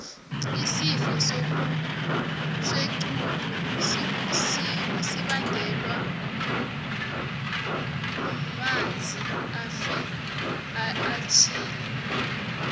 isifo sokuxhudo sibongelwa bnanzi afeljila